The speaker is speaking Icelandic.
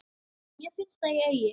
Mér finnst að ég, Ási